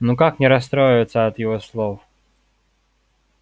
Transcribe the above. но как не расстроиться от его слов